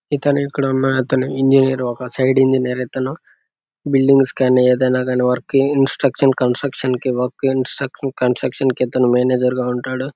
ఇతను ఇక్కడ ఉన్న అతను ఇంజినీర్ . ఒక సైడ్ ఇంజినీర్ ఇతను. బిల్డింగ్స్ స్కాన్ అయ్యేది. ఎలాగని instruction construction work instruction construction కి ఇతను మేనేజర్ గా ఉంటాడు.